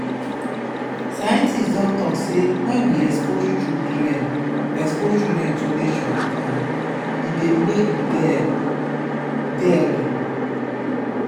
scientist don talk sey when we expose children expose children to nature um e dey make dem dey healthy